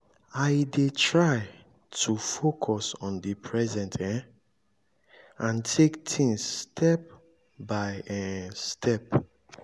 i dey try to focus on di present um and take things step by um step.